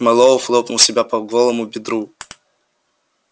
мэллоу хлопнул себя по голому бедру